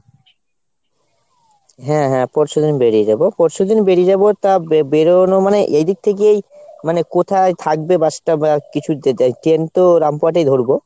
হ্যাঁ হ্যাঁ পরশুদিন বেরিয়ে যাবো। পরশুদিন বেরিয়ে যাবো তা বে~ বেরোনো মানে এইদিক থে গিয়েই মানে কোথায় থাকবে bus টা কিছু train তো রামপুরহাট এই ধরবো।